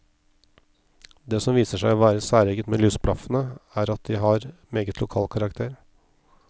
Det som viser seg å være særegent med lysblaffene, er at de har meget lokal karakter.